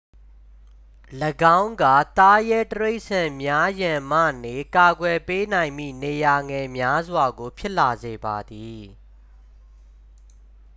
၎င်းက သားရဲတိရစ္ဆာန်များရန်မှနေ ကာကွယ်ပေးနိုင်မည့် နေရာငယ်များစွာကို ဖြစ်လာစေပါသည်